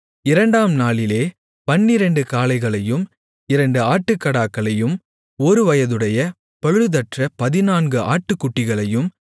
இரண்டாம் நாளிலே பன்னிரண்டு காளைகளையும் இரண்டு ஆட்டுக்கடாக்களையும் ஒருவயதுடைய பழுதற்ற பதினான்கு ஆட்டுக்குட்டிகளையும்